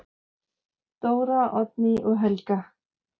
Dóra, Oddný og Helga.